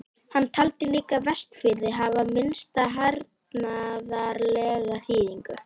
Hann taldi líka Vestfirði hafa minnsta hernaðarlega þýðingu.